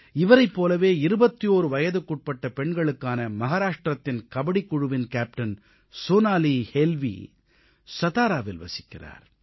இவரைப் போலவே 21 வயதுக்குட்பட்ட பெண்களுக்கான மஹாராஷ்ட்ரத்தின் கபடிக் குழுவின் கேப்டன் சோனாலி ஹேல்வீ சதாராவில் வசிக்கிறார்